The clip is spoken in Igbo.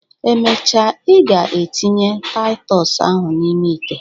Emecha, ị ga etinye Taịtọs ahụ n'ime ite.